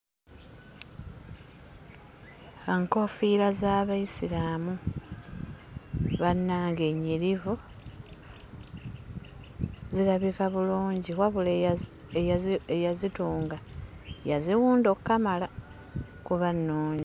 Enkoofiira z'Abayisiraamu, bannange nnyirivu! Zirabika bulungi, wabula eyazi eyazi eyazitunga, yaziwunda okkamala, kuba nnungi.